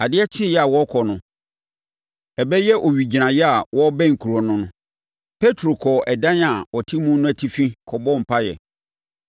Adeɛ kyeeɛ a wɔrekɔ no, ɛbɛyɛ owigyinaeɛ a wɔrebɛn kuro no no, Petro kɔɔ ɛdan a ɔte mu no atifi kɔbɔɔ mpaeɛ.